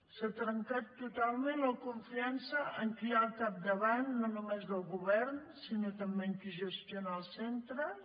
s’ha trencat totalment la confiança en qui hi ha al capdavant no només del govern sinó també en qui gestiona els centres